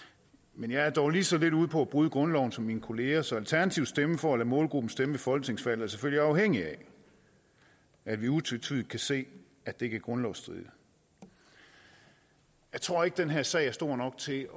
men jeg er dog lige så lidt ude på at bryde grundloven som mine kollegaer er så alternativets stemme for at lade målgruppen stemme ved folketingsvalg er selvfølgelig afhængig af at vi utvetydigt kan se at det ikke er grundlovsstridigt jeg tror ikke den her sag er stor nok til